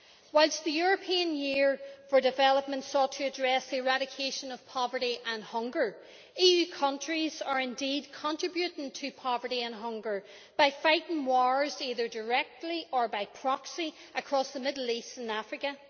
Whilst the European Year for Development sought to address the eradication of poverty and hunger, EU countries are indeed contributing to poverty and hunger by fighting wars, either directly or by proxy, across the Middle East and Africa.